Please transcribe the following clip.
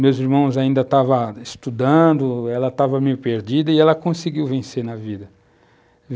Meus irmãos ainda estavam estudando, ela estava meio perdida e ela conseguiu vencer na vida.